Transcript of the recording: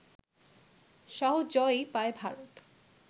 সহজ জয়ই পায় ভারত